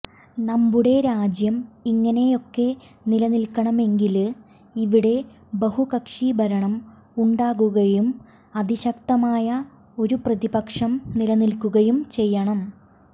നമ്മുടെ രാജ്യം ഇങ്ങനെയൊക്കെ നിലനില്ക്കണമെങ്കില് ഇവിടെ ബഹുകക്ഷി ഭരണം ഉണ്ടാകുകയും അതിശക്തമായ ഒരു പ്രതിപക്ഷം നിലനില്ക്കുകയും ചെയ്യണം